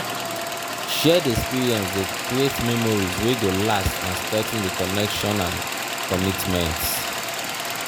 shared experience de create memories wey go last and strengthen di connection and commitment